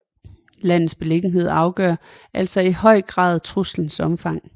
Landets beliggenhed afgør altså i høj grad truslens omfang